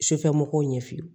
Sufɛmɔgɔw ɲɛ fili